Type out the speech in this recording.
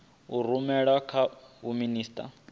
a rumela kha vho minisita